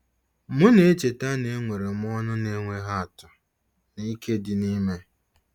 M na-echeta na enwere m ọṅụ na-enweghị atụ na ike dị n'ime.